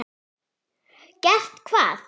Gert hvað?